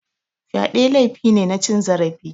Fyade laifi ne na cin zarafi.